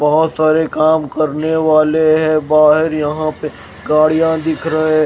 बहोत सारे काम करने वाले हैं बाहर यहाँ पे गाड़ियां दिख रहे--